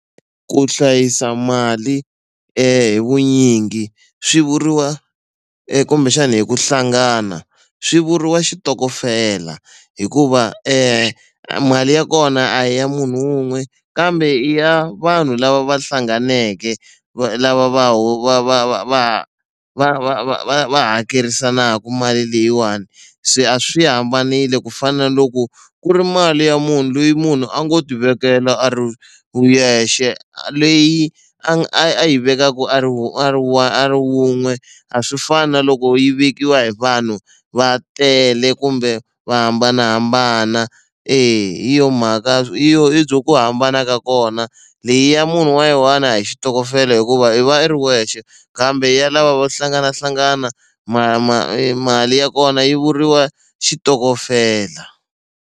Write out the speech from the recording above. Ku hlayisa mali hi vunyingi swi vuriwa kumbexana hi ku hlangana swi vuriwa xitokofela hikuva mali ya kona a hi ya munhu wun'we kambe i ya vanhu lava va hlanganeke va lava va ho va va va va va va va va va hakerisaka mali leyiwani se a swi hambanile ku fana na loko ku ri mali ya munhu loyi munhu a ngo tivekela a ri yexe leyi a yi vekaka a wu a a ri wun'we a swi fani na loko yi vekiwa hi vanhu va tele kumbe va hambanahambana hi yo mhaka yo byo ku hambana ka kona leyi ya munhu wa yi one a hi xitokofela hikuva i va i ri wexe kambe ya lava va hlanganahlangana ma ma mali ya kona yi vuriwa xitokofela.